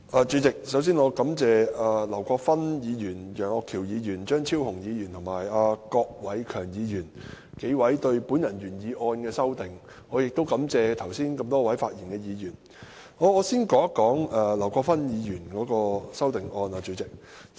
主席，首先，我感謝劉國勳議員、楊岳橋議員、張超雄議員及郭偉强議員就我的原議案提出修正案，亦感謝多位剛才發言的議員。